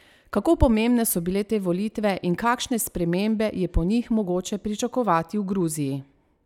Kako pomembne so bile te volitve in kakšne spremembe je po njih mogoče pričakovati v Gruziji?